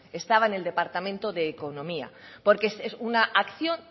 estaba en el departamento de economía porque es una acción